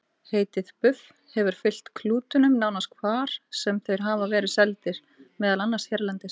Heitið buff hefur fylgt klútunum nánast hvar sem þeir hafa verið seldir, meðal annars hérlendis.